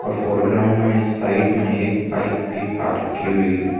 और ग्राउंड में साइट में एक बाइक भी पार्क की हुई है।